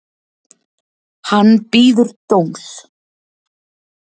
Hann bíður dóms